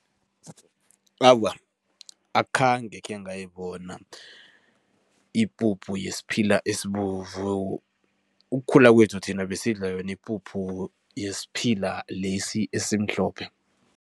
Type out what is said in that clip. Awa, akhange khengayibona ipuphu yesiphila esibovu. Ukukhula kwethu, thina besidla yona ipuphu yesiphila lesi esimhlophe.